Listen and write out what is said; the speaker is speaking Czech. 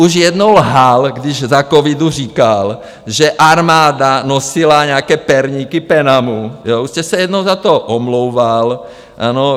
Už jednou lhal, když za covidu říkal, že armáda nosila nějaké perníky PENAMu, už jste se jednou za to omlouval, ano.